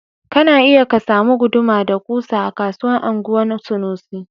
Kana iya ka samu guduma da kusa a kasuwan anguwan sanusi